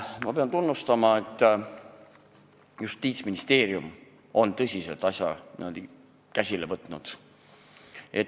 Ma pean tunnustama, et Justiitsministeerium on tõsiselt asja käsile võtnud.